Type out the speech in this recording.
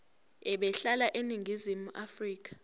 ebehlala eningizimu afrika